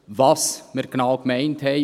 Was wir genau gemeint haben …